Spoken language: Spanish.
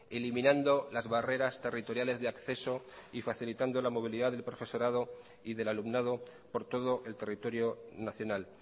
eliminando las barreras territoriales de acceso y facilitando la movilidad del profesorado y del alumnado por todo el territorio nacional